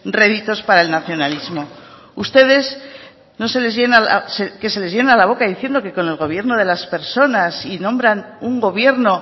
réditos para el nacionalismo ustedes no se les llena que se les llena la boca diciendo que con el gobierno de las personas y nombran un gobierno